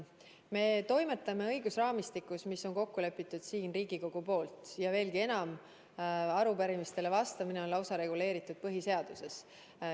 Me toimetame õigusraamistikus, mis on kokku lepitud siin Riigikogus, veelgi enam, arupärimistele vastamine on reguleeritud lausa põhiseaduses.